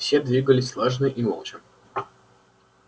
все двигались слаженно и молча